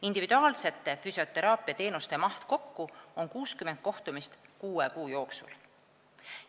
Individuaalsete füsioteraapiateenuste maht kokku on 60 kohtumist kuue kuu jooksul.